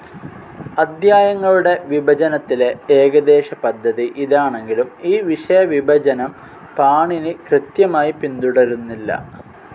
അദ്ധ്യായങ്ങളുടെ വിഭജനത്തിലെ ഏകദേശപദ്ധതി ഇതാണെങ്കിലും ഈ വിഷയവിഭജനം പാണിനി കൃത്യമായി പിന്തുടരുന്നില്ല.